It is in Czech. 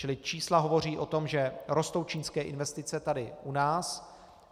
Čili čísla hovoří o tom, že rostou čínské investice tady u nás.